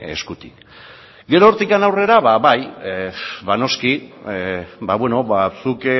eskutik gero hortik aurrera ba bai noski ba beno ba zuk